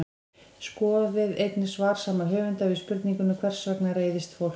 Skoðið einnig svar sama höfundar við spurningunni Hvers vegna reiðist fólk?